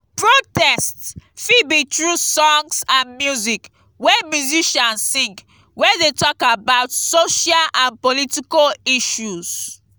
protests fit be through songs and music wey musician sing wey de talk about social and political issues